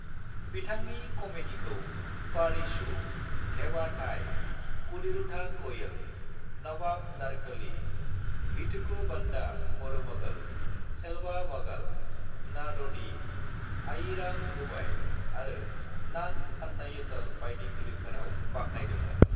"बिथांनि कमेडीखौ 'पारिसु', 'धेवा थाई', 'कुडीरुधा कोयल', 'नवाब नारकली', 'वीतुकु वंदा मरुमगल', 'सेल्वा मगल', 'नाड'दी', 'आयीराम रूबाई' आरो 'नान अन्नायितल' बायदि फिल्मफोराव बाखनायदोंमोन।"